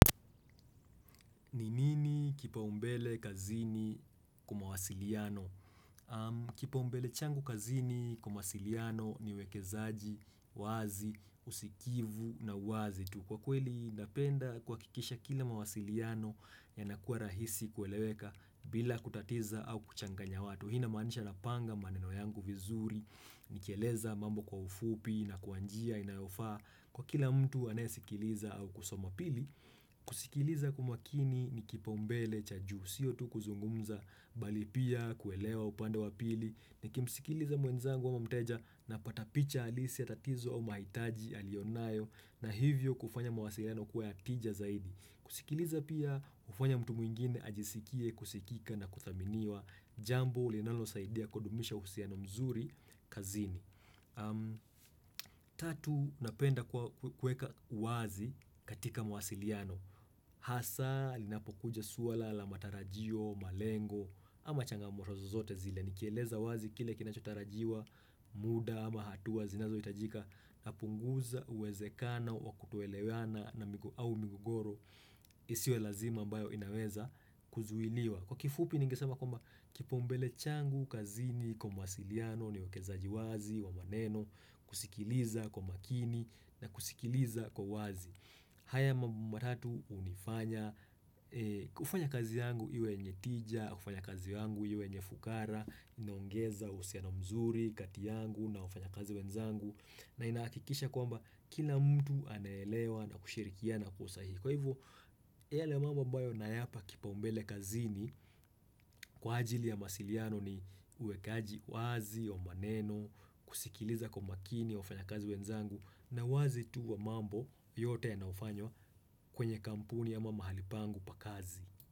Ni nini kipaumbele kazini kwa mawasiliano? Kipaumbele changu kazini kwa mawasiliano ni uwekezaji wazi, usikivu na uwazi tu. Kwa kweli napenda kuhakikisha kila mawasiliano inakua rahisi kueleweka bila kutatiza au kuchanganya watu. Hii inamanisha nanga maneno yangu vizuri, nikieleza mambo kwa ufupi na kwa njia inayofaa. Kwa kila mtu anayesikiliza au kusoma pili, kusikiliza kwa umakini ni kipaumbele cha juu, sio tu kuzungumza, bali pia kuelewa upande wa pili, nikimsikiliza mwenzangu au mteja napata picha halisi ya tatizo mahitaji alionayo na hivyo kufanya mawasiliano kuwa ya tija zaidi. Kusikiliza pia ufanya mtu mwingine ajisikie, kusikika na kuthaminiwa, jambo linalosaidia kudumisha uhusiano mzuri kazini. Tatu napenda kueka uwazi katika mawasiliano Hasa linapokuja swala la matarajio, malengo ama changamoto zozote zile Nikieleza wazi kile kinachotarajiwa muda ama hatuwa zinazo hitajika napunguza uwezekana wakutoelewana au migogoro isiwe lazima ambayo inaweza kuzuiliwa Kwa kifupi ningesema kwamba kipaumbele changu, kazini, kwa mwasiliano, ni uwekezaji wazi, wa maneno kusikiliza kwa makini na kusikiliza kwa wazi haya mambo matatu unifanya kufanya kazi yangu iwe yenye tija, kufanya kazi yangu iwe enye fukara Inoongeza uhusiano mzuri, kati yangu na wafanyakazi wenzangu na inahakikisha kwamba kila mtu anaelewa na kushirikiana kwa usahihi Kwa hivyo, yale mambo ambayo nayapa kipaumbele kazini Kwa ajili ya mawasiliano ni uwekaji wazi wa maneno kusikiliza kwa makini wafanyakazi wenzangu na uwazi tu wa mambo yote yanayofanywa kwenye kampuni ama mahali pangu pa kazi.